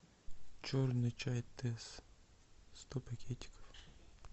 черный чай тесс сто пакетиков